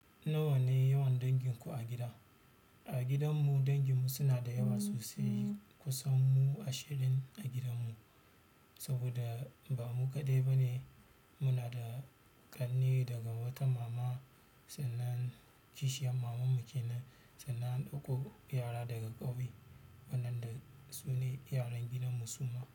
Nawa ne yawan danginku a gida? A gidanmu danginmu suna da yawa sosai. Kusan mu ashirin a gidanmu, saboda ba mu kaɗai ba ne. Muna da ƙanne daga wata mama, sannan kishiyar maman mu ke nan. Sannan an ɗauko yara daga ƙauye wannan dai sune yaran gidan mu suma.